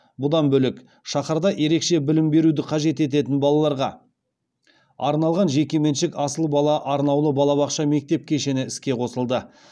бұдан бөлек шаһарда ерекше білім беруді қажет ететін балаларға арналған жекеменшік асыл бала арнаулы балабақша мектеп кешені іске қосылды